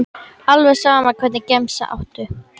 alveg sama Hvernig gemsa áttu?